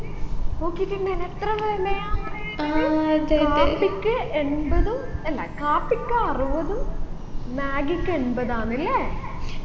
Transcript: നോക്കിറ്റിണ്ടായിന എത്ര വിലയാന്ന് കാപ്പിക്ക് എൺപതും അല്ല കാപ്പിക്ക് അറുപതും മാഗിക്ക് എൺപതാന്നല്ലേ